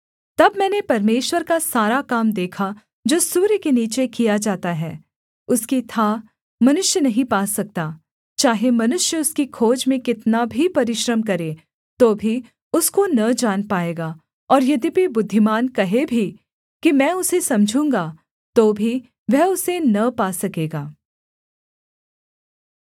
तब मैंने परमेश्वर का सारा काम देखा जो सूर्य के नीचे किया जाता है उसकी थाह मनुष्य नहीं पा सकता चाहे मनुष्य उसकी खोज में कितना भी परिश्रम करे तो भी उसको न जान पाएगा और यद्यपि बुद्धिमान कहे भी कि मैं उसे समझूँगा तो भी वह उसे न पा सकेगा